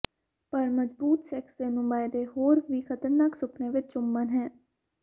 ਪਰ ਮਜ਼ਬੂਤ ਸੈਕਸ ਦੇ ਨੁਮਾਇੰਦੇ ਹੋਰ ਵੀ ਖਤਰਨਾਕ ਸੁਪਨੇ ਵਿੱਚ ਚੁੰਮਣ ਹੈ